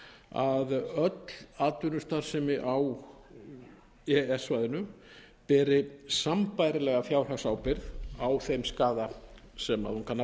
að öll atvinnustarfsemi á e e s svæðinu beri sambærilega fjárhagsábyrgð á þeim skaða sem hún kann að